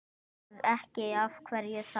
Ef ekki, af hverju þá?